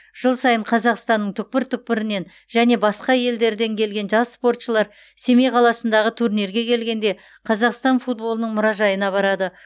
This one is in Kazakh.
жыл сайын қазақстанның түкпір түкпірінен және басқа елдерден келген жас спортшылар семей қаласындағы турнирге келгенде қазақстан футболының мұражайына барады